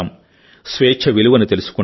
స్వేచ్ఛ విలువను తెలుసుకుంటాం